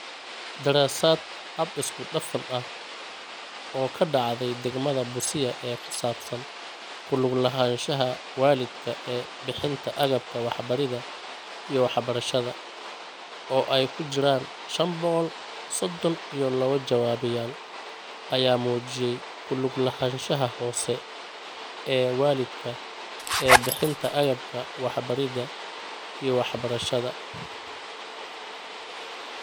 Daraasad hab isku dhaf ah oo ka dhacday Degmada Busia ee ku saabsan ku lug lahaanshaha waalidka ee bixinta agabka waxbaridda iyo waxbarashada, oo ay ku jiraan shaan boqol sodhon iyo lawo jawaabeyaal, ayaa muujiyay ku lug lahaanshaha hoose ee waalidka ee bixinta agabka waxbaridda iyo waxbarashada.